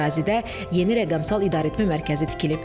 Ərazidə yeni rəqəmsal idarəetmə mərkəzi tikilib.